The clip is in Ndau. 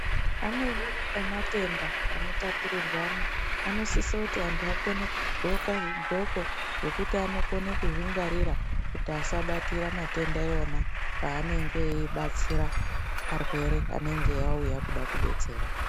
Amweni ematenda anotapurirwana anosisa kuti antu akone kudxoka zvidxoko zvekuti anokone kuzvingwarira, kuti asabatira matenda iwona paanenge eibatsira anenge auya eida kudetserwa.